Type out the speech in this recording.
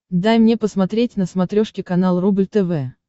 дай мне посмотреть на смотрешке канал рубль тв